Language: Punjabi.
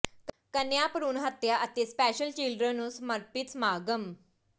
ਕੰਨਿਆਂ ਭਰੂਣ ਹੱਤਿਆ ਅਤੇ ਸਪੈਸ਼ਲ ਚਿਲਡਰਨ ਨੂੰ ਸਮਰਪਿੱਤ ਸਮਾਗਮ